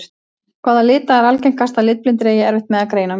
Hvaða lita er algengast að litblindir eigi erfitt með að greina á milli?